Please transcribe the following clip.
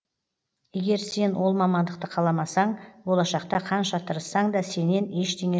егер сен ол мамандықты қаламасаң болашақта қанша тырыссаң да сеннен ештеңе